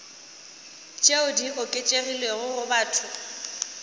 tšeo di oketšegilego go batho